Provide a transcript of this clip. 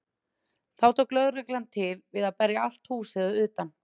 Þá tók lögreglan til við að berja allt húsið að utan.